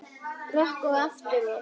Rokk og aftur rokk.